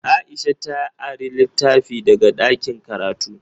Aisha ta ari litafi daga ɗakin karatu.